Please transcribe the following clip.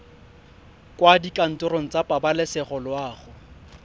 kwa dikantorong tsa pabalesego loago